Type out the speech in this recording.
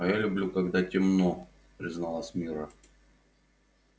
а я люблю когда темно призналась мирра